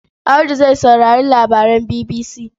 Audu zai saurari labaran BBC.